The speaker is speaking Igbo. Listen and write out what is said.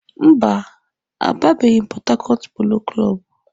Mba, agabeghi m Pọt Hakọt Polo Klọb.